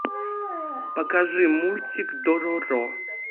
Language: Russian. покажи мультик дороро